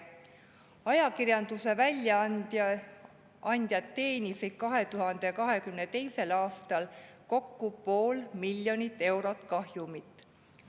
Ajakirjanduse väljaandjad teenisid 2022. aastal kokku pool miljonit eurot kahjumit.